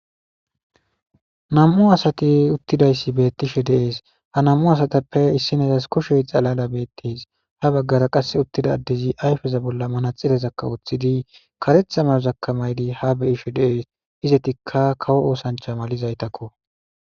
nam7u asati uttidayssi bettishe deees ha nammu asatappe issin esas kushe xalada beettes ha baggara qas uttida addezi ayfeza bolla mana xilezakka wuththidi karetha mayozaka maydi ha beyishe dees izetikka kawo oosancha malizaytakko